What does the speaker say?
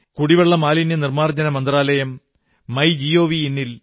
കുടിവെള്ള മാലിന്യനിർമ്മാർജ്ജന മന്ത്രാലയം മൈജിഒവി